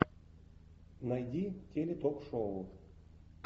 найди теле ток шоу